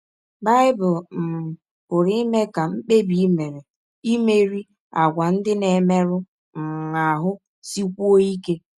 Bible um pụrụ ime ka mkpebi i mere imerị àgwà ndị na - emerụ um ahụ sikwụọ ike